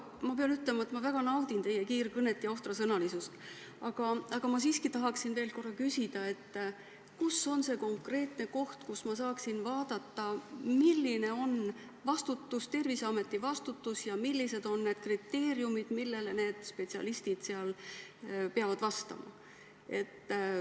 Ma pean ütlema, et ma väga naudin teie kiirkõnet ja ohtrasõnalisust, aga ma siiski tahan veel korra küsida: kus on see konkreetne koht, kust ma saaksin vaadata, milline on Terviseameti vastutus ja millised on need kriteeriumid, millele spetsialistid seal peavad vastama?